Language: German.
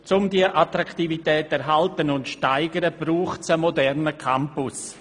Um diese Attraktivität zu erhalten und zu steigern, braucht es einen modernen Campus.